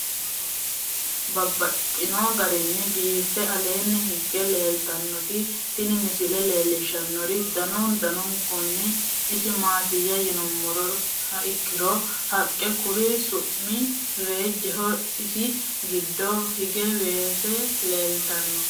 Babaxxittinno garinni biiffe aleenni hige leelittannotti tinni misile lelishshanori danu danunkunni isi maattiya yinummoha ikkiro haqqe Kuri su'mi reejjeho. isi giddo hige weese leelittanno.